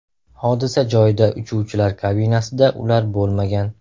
Hodisa joyida uchuvchilar kabinasida ular bo‘lmagan.